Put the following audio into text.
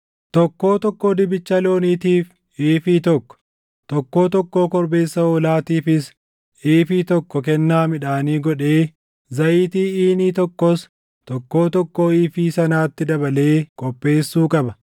Tokkoo tokkoo dibicha looniitiif iifii tokko, tokkoo tokkoo korbeessa hoolaatiifis iifii tokko kennaa midhaanii godhee, zayitii iinii tokkoos tokkoo tokkoo iifii sanaatti dabalee qopheessuu qaba.